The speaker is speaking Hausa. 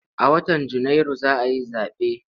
A watan Janairu za a yi zaɓe.